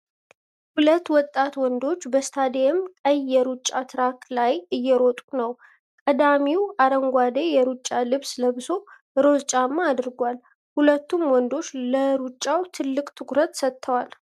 ሁለት ወጣት ወንዶች በስታዲየም ቀይ የሩጫ ትራክ ላይ እየሮጡ ነው። ቀዳሚው አረንጓዴ የሩጫ ልብስ ለብሶ፣ ሮዝ ጫማ አድርጓል። ሁለቱም ወንዶች ለሩጫው ትልቅ ትኩረት ሰጥተውታል።